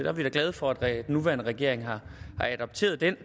er vi da glade for at nuværende regering har adopteret den